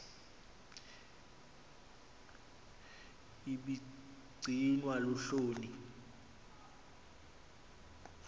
ibi gcinwa luhloni